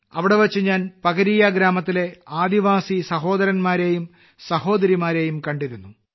അവിടെവെച്ച് ഞാൻ പകരീയ ഗ്രാമത്തിലെ ആദിവാസി സഹോദരന്മാരെയും സഹോദരിമാരെയും കണ്ടിരുന്നു